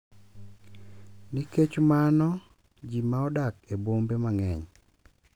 Nikech mano, ji ma odak e bombe mang’eny